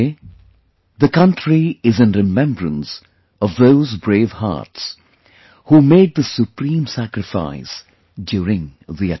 Today, the country is in remembrance of those brave hearts who made the supreme sacrifice during the attack